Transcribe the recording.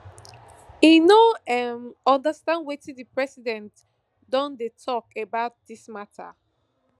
im no um understand wetin di president don dey tok about dis mata